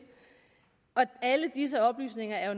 og alle disse oplysninger er